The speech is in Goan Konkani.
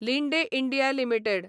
Linde India limited